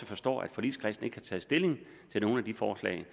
forstår at forligskredsen ikke har taget stilling til nogle af de forslag